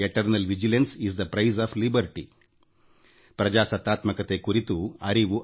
ಅದು ನಮ್ಮ ಸಿದ್ಧಾಂತದ ಭಾಗವೂ ಹೌದು